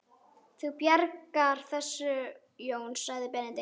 Þú bjargar þessu Jón sagði Benedikt.